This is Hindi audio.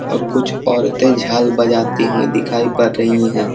और कुछ औरतें झाल बजाती हुई झाल बजती हुई दिखाई पर रही हैं।